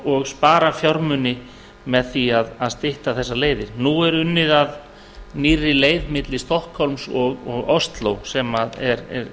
og spara fjármuni með því að stytta þessar leiðir nú er unnið að nýrri leið milli stokkhólms og osló sem er